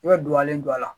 I bɛ duwawu don a la